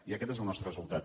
i aquest és el nostre resultat